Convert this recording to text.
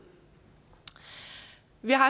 vi har